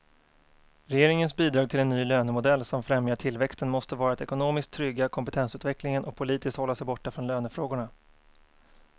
Regeringens bidrag till en ny lönemodell som främjar tillväxten måste vara att ekonomiskt trygga kompetensutvecklingen och politiskt hålla sig borta från lönefrågorna.